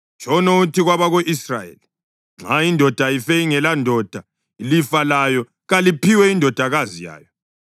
Tshono uthi kwabako-Israyeli, ‘Nxa indoda ife ingelandodana, ilifa layo kaliphiwe indodakazi yayo.